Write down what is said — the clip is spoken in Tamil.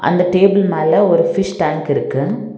அந்த டேபிள் மேல ஒரு ஃபிஷ் டேங்க் இருக்கு.